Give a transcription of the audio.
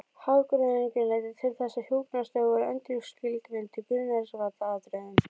Hagræðingin leiddi til þess að hjúkrunarstörf voru endurskilgreind í grundvallaratriðum.